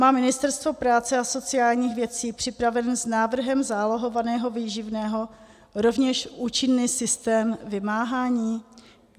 Má Ministerstvo práce a sociálních věcí připraven s návrhem zálohovaného výživného rovněž účinný systém vymáhání?